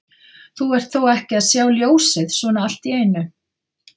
Þú ert þó ekki að sjá ljósið svona allt í einu?